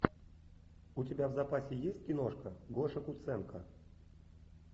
у тебя в запасе есть киношка гоша куценко